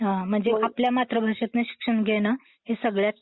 हा म्हणजे आपल्या मातृभाषेतनं शिक्षण घेणे हे सगळ्यात...